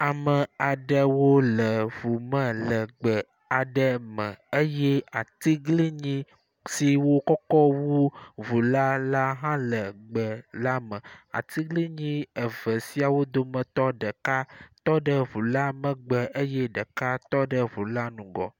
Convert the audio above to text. Ame aɖewo le ŋu me le gbe aɖe me eye atiglinyi siwo kɔkɔ wu ŋula hã le gbe la me. Atiglinyi siawo dometɔ ɖeka tɔ ɖe ŋu la megeb eye ɖeka tɔ ɖe ŋu la ŋgɔ.